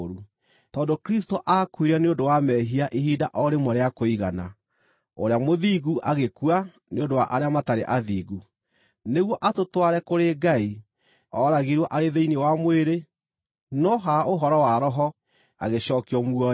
Tondũ Kristũ aakuire nĩ ũndũ wa mehia ihinda o rĩmwe rĩa kũigana, ũrĩa mũthingu agĩkua nĩ ũndũ wa arĩa matarĩ athingu, nĩguo atũtware kũrĩ Ngai. Ooragirwo arĩ thĩinĩ wa mwĩrĩ, no ha ũhoro wa Roho, agĩcookio muoyo,